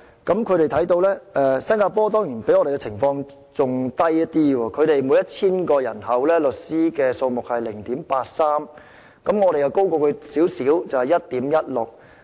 新加坡在這方面的比例原來較香港的更低，他們每 1,000 人的律師數目是 0.83， 而我們是 1.16， 比他們高少許；